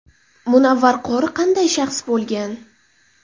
Munavvar qori qanday shaxs bo‘lgan?.